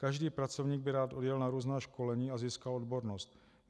Každý pracovník by rád odjel na různá školení a získal odbornost.